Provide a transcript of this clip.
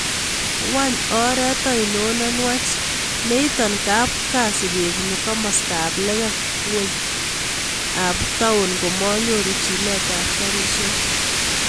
Wany oret ainon nenwach neiton kap kasi kebune komastab lekem ngweny ab taun komanyoru chilet ab garishek